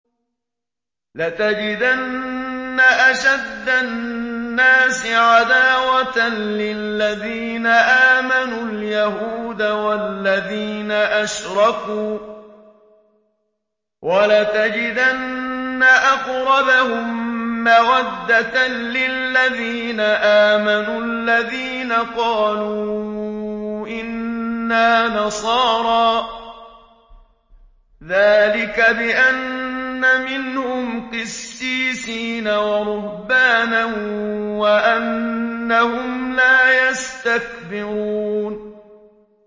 ۞ لَتَجِدَنَّ أَشَدَّ النَّاسِ عَدَاوَةً لِّلَّذِينَ آمَنُوا الْيَهُودَ وَالَّذِينَ أَشْرَكُوا ۖ وَلَتَجِدَنَّ أَقْرَبَهُم مَّوَدَّةً لِّلَّذِينَ آمَنُوا الَّذِينَ قَالُوا إِنَّا نَصَارَىٰ ۚ ذَٰلِكَ بِأَنَّ مِنْهُمْ قِسِّيسِينَ وَرُهْبَانًا وَأَنَّهُمْ لَا يَسْتَكْبِرُونَ